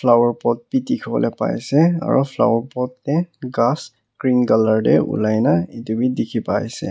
flower pot bi dikhiwolae paiase aro flower pot tae ghas green colour tae olai na edu bi dikhipaiase.